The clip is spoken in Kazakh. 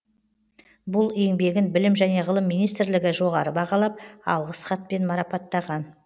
бұл еңбегін білім және ғылым минстрлігі жоғары бағалап алғыс хатпен марапаттаған